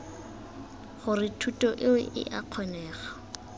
gore thuto eo ea kgonega